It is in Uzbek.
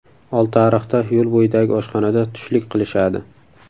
Oltiariqda, yo‘l bo‘yidagi oshxonada tushlik qilishadi.